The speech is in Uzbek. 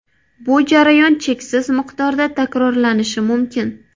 Bu jarayon cheksiz miqdorda takrorlanishi mumkin.